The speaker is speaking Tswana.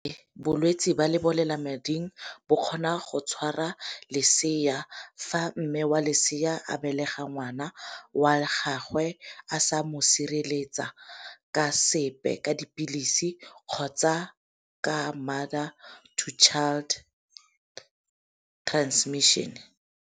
Bolwetsi ba lebolelamading ba kgona go tshwara lesea fa mme wa lesea a belega ngwana wa gagwe a sa mo sireletsa ka sepe, ka dipilisi kgotsa ka mother to child transmission.